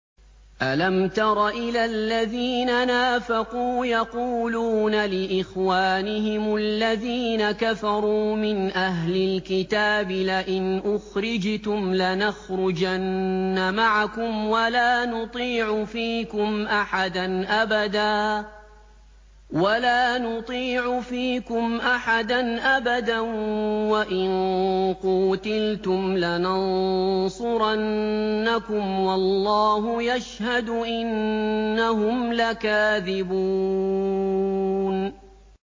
۞ أَلَمْ تَرَ إِلَى الَّذِينَ نَافَقُوا يَقُولُونَ لِإِخْوَانِهِمُ الَّذِينَ كَفَرُوا مِنْ أَهْلِ الْكِتَابِ لَئِنْ أُخْرِجْتُمْ لَنَخْرُجَنَّ مَعَكُمْ وَلَا نُطِيعُ فِيكُمْ أَحَدًا أَبَدًا وَإِن قُوتِلْتُمْ لَنَنصُرَنَّكُمْ وَاللَّهُ يَشْهَدُ إِنَّهُمْ لَكَاذِبُونَ